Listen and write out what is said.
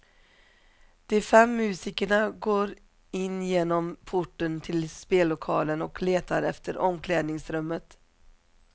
De fem musikerna går in genom porten till spellokalen och letar efter omklädningsrummet.